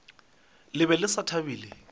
le be le sa thabile